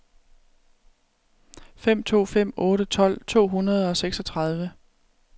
fem to fem otte tolv to hundrede og seksogtredive